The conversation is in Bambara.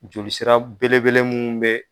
Joli sira belebele munnu be